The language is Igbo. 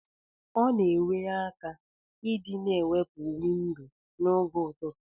Ọna enye aka idi na emepe windo na og ụtụtụ.